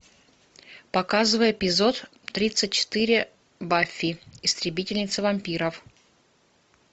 показывай эпизод тридцать четыре баффи истребительница вампиров